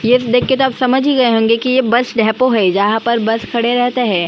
यह देख के आप समझ ही गए होंगे की यह बस डेपो है जहाँ पर बस खड़े रहते है।